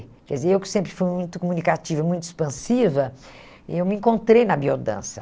Quer dizer, eu que sempre fui muito comunicativa, muito expansiva, eu me encontrei na biodança.